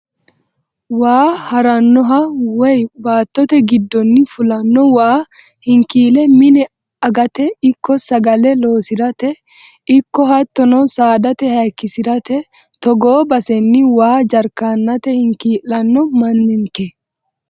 Waa haranoha woyi baattote giddonni fulano waa hinkile mine agate ikko sagale loosirate ikko hattono saadate hayikkisirate togoo baseni waa jarkenate hinki'lano manninke.